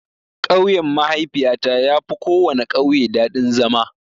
Ƙauyen mahaifiyata yafi kowana ƙauye daɗin zama.